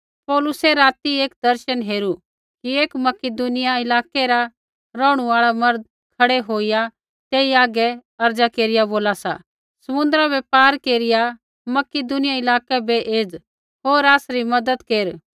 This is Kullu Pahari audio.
पौलुसै राती एक दर्शन हेरू कि एक मकिदुनिया इलाकै रा रौहणु आल़ा मर्द खड़ै होईया तेई हागै अर्ज़ा केरिया बोला सा समुन्द्रा बै पार केरिया मकिदुनिया इलाकै बै एज़ होर आसरी मज़त केर